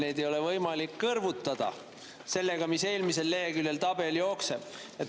Neid ei ole võimalik kõrvutada sellega, kuidas eelmisel leheküljel tabel jookseb.